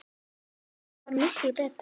En þetta varð miklu meira.